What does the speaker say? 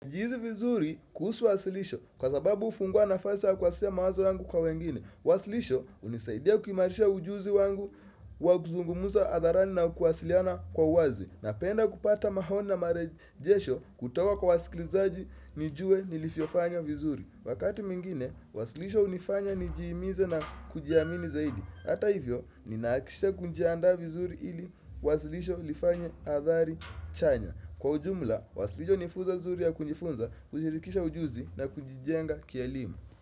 Ujihisi vizuri kuhusu wasilisho kwa sababu hufungua nafasi ya kuwasilisha mawazo yangu kwa wengine. Wasilisho hunisaidia kuimarisha ujuzi wangu wa kuzungumuza adharani na kuwasiliana kwa wazi. Ninapenda kupata maoni na marejesho kutoka kwa wasiklizaji nijue nilivyofanya vizuri. Wakati mwingine, wasilisho hunifanya nijiimize na kujiamini zaidi. Hata hivyo, ninahakikisha kujianda vizuri ili wasilisho lifanye athari chanya. Kwa ujumla, wasilisho ni funzo zuri ya kujifunza, kujirithisha ujuzi na kunjijenga kielimu.